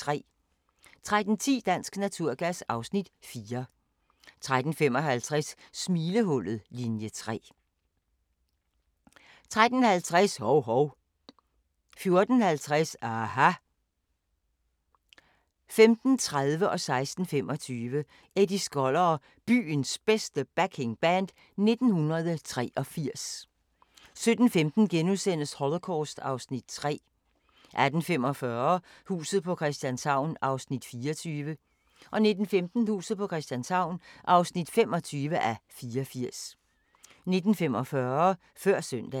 13:10: Dansk Naturgas (Afs. 4) 13:35: Smilehullet – Linie 3 13:50: Hov-Hov 14:50: aHA! 15:30: Eddie Skoller og Byens Bedste Backing Band 1983 16:25: Eddie Skoller og Byens Bedste Backing Band 1983 17:15: Holocaust (Afs. 3)* 18:45: Huset på Christianshavn (24:84) 19:15: Huset på Christianshavn (25:84) 19:45: Før søndagen